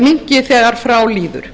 minnki þegar frá líður